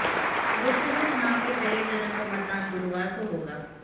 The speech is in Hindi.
लोकसभा चुनाव के पहले चरण का मतदान गुरुवार को होगा